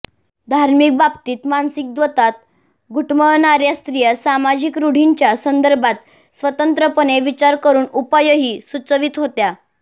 धार्मिक बाबतीत मानसिक द्वंद्वात घुटमळणाऱ्या स्त्रिया सामाजिक रूढींच्या संदर्भात स्वतंत्रपणे विचार करून उपायही सुचवीत होत्या